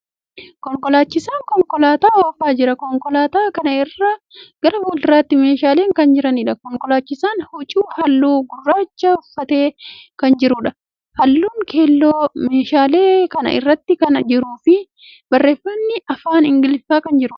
Konkolaachisaan konkolaataa oofaa jira. Konkolaataa kana irra gara fuulduraatti meeshaalen kan jiraniidha. Konkolaachisaan huccuu haalluu gurraacha uffatee kan jiruudha. Haallun keelloo meeshaalee kana irratti kan jiruu fi barreeffamni afaan Ingiliffaa kan jiruudha.